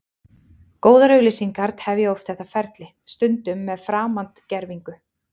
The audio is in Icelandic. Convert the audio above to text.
Góðar auglýsingar tefja oft þetta ferli, stundum með framandgervingu.